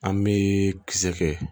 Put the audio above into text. An bɛ kisɛ kɛ